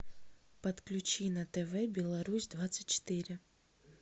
подключи на тв белорусь двадцать четыре